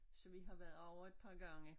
Så vi har været ovre et par gange